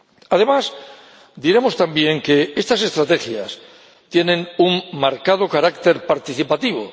Además, diremos también que estas estrategias tienen un marcado carácter participativo.